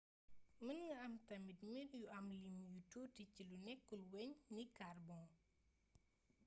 mën nga am tamit mbir yu am lim yu tuuti ci lu nékkul-wegn ni carbon